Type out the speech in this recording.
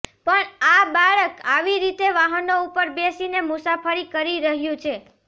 પણ આ બાળક આવી રીતે વાહનો ઉપર બેસીને મુસાફરી કરી રહ્યું છે